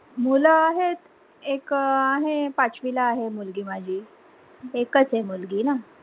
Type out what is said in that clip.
मुलं आहेत, एक आहे पाचवीला आहे मुलगी माझी एकच आहे मुलगी ना